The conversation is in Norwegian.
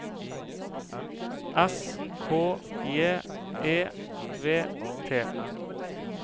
S K J E V T